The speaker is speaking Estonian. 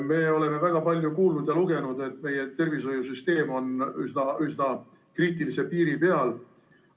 Me oleme väga palju kuulnud ja lugenud, et meie tervishoiusüsteem on üsna kriitilise piiri peal.